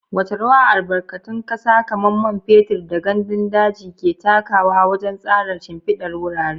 Wace rawa albarkatun kasa kamar man fetur da gandun daji ke takawa wajen tsara shimfidar wurare?